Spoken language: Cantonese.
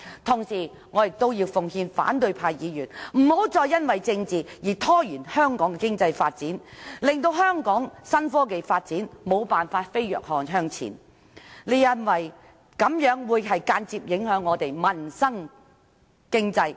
同時，我要奉勸反對派議員，不要再因為政治而拖延香港的經濟發展，令香港的新科技發展無法飛躍向前，這樣會間接影響香港的民生和經濟。